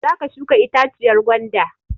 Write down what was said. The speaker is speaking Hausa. Za ka shuka itaciyar gwanda!